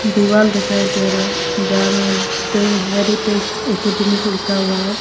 दीवाल दिखाई दे रहे हैं जहां में द हेरिटेज एकेडमी लिखा हुआ है।